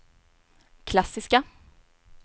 klassiska